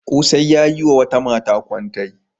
Ƙosai ya yi wa wata mata kwantai.